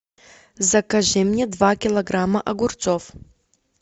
закажи мне два килограмма огурцов